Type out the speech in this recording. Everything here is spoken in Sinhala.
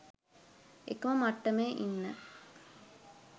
එකම මට්ටමේ ඉන්න